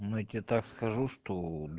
ну я тебе так скажу что